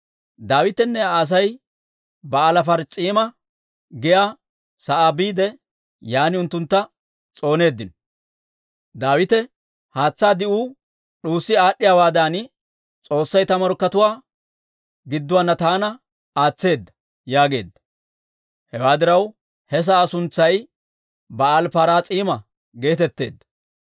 Daawitenne Aa Asay Ba'aali-Paraas'iima giyaa sa'aa biide, yaan unttuntta s'ooneeddino. Daawite, «Haatsaa di'uu d'uussi aad'd'iyaawaadan S'oossay ta morkkatuwaa gidduwaanna taana aatseedda» yaageedda. Hewaa diraw, he sa'aa suntsay Ba'aali-Paraas'iima geetetteedda.